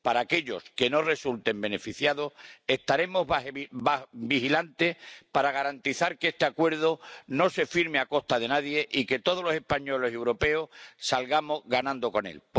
Para aquellos que no resulten beneficiados estaremos vigilantes para garantizar que este acuerdo no se firme a costa de nadie y que todos los españoles y los europeos salgamos ganando con él.